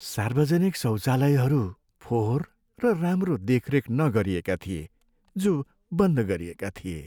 सार्वजनिक शौचालयहरू फोहोर र राम्रो देखरेख नगरिएका थिए, जो बन्द गरिएका थिए।